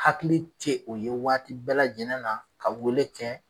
Hakili te o ye waati bɛɛ lajɛlen na ka weele kɛ